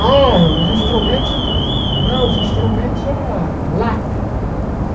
Ah, os instrumentos... Não, os instrumentos era lata.